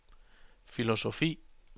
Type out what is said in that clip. filosofi